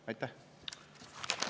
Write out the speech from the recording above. Aitäh!